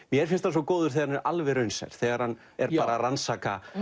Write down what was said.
mér finnst hann svo góður þegar hann er alveg raunsær þegar hann er að rannsaka